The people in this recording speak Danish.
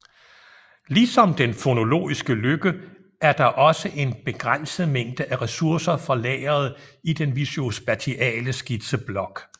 Ligesom den fonologiske løkke er der også en begrænset mængde af ressourcer for lageret i den visuospatiale skitseblok